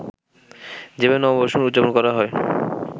যেভাবে নববর্ষ উদযাপন করা হয়